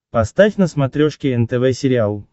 поставь на смотрешке нтв сериал